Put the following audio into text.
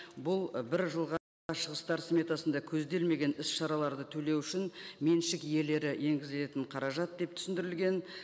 бұл і бір жылға шығыстар сметасында көзделмеген іс шараларды төлеу үшін меншік иелері енгізілетін қаражат деп түсіндірілген